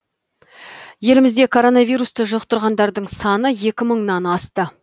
елімізде коронавирусты жұқтырғандардың саны екі мыңнан асты